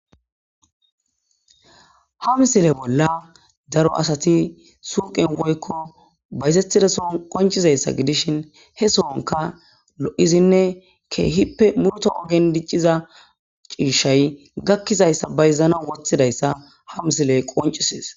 Ha misile bolla daro asati suqen woykko bayzetidason qoncizayssa gidishin he soonka lo'zinne keehippe murto ohen dicciza ciishshay gakkizayssa bayzana wothidayssa ha misile qoncises.